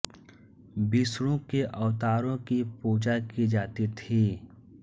विष्णु के अवतारों कि पुजा की जाती थी